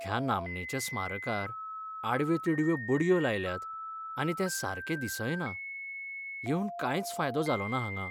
ह्या नामनेच्या स्मारकार आडव्यो तिडव्यो बडयो लायल्यात आनी तें सारकें दिसय ना, येवून कांयच फायदो जालो ना हांगा.